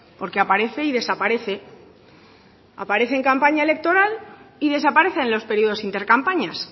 porque aparece y desaparece aparece en campaña electoral y desaparece en los periodos inter campañas